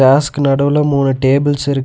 கிராஸ்க்கு நடுவுல மூணு டேபிள்ஸ் இருக்--